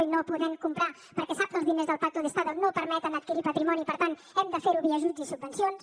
i no podem comprar perquè sap que els diners del pacto de estado no permeten adquirir patrimoni per tant hem de fer ho via ajuts i subvencions